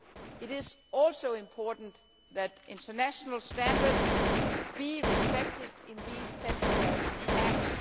It is also important that international standards be respected in these temporary camps.